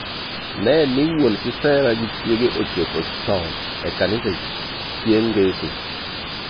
Nee ni wuon kisera gi chiege ochopo chon e kanisa chieng' ngeso.